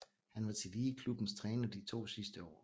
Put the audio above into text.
Han var tillige klubbens træner de to sidste år